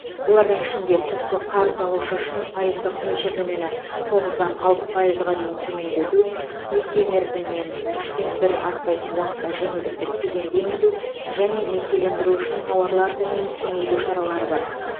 олардың ішінде түпкі қарыз алушы үшін пайыздық мөлшерлемені тоғыздан алты пайызға дейін төмендету несие мерзімінен үштен бір аспайтын уақытқа жеңілдікті кезеңді енгізу және несиелендіру үшін тауарлар тізімін кеңейту шаралары бар